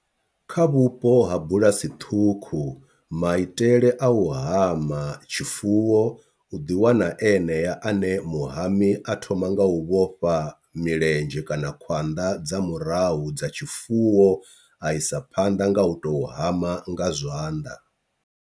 Kha vhupo ha bulasi ṱhukhu maitele a u hama tshifuwo u ḓi wana enea ane muhami a thoma nga u vhofha milenzhe kana khwanḓa dza murahu dza tshifuwo a isa phanḓa nga u to hama nga zwanḓa.